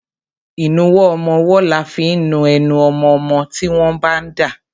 Ìnuwọ́ ọmọwọ́ là fi ń nu enu ọmọmọ́ tí wọ́n bá ń dà.